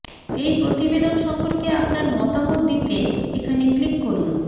এই প্রতিবেদন সম্পর্কে আপনার মতামত দিতে এখানে ক্লিক করুন